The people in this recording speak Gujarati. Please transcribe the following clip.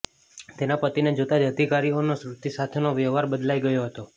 તેના પતિને જોતાં જ અધિકારીઓનો શ્રુતિ સાથેનો વ્યવહાર બદલાઈ ગયો હતો